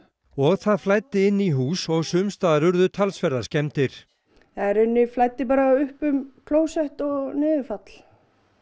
og það flæddi inn í hús og sums staðar urðu talsverðar skemmdir það í rauninni flæddi bara upp um klósett og niðurfall